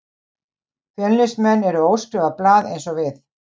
Fjölnismenn eru óskrifað blað eins og við.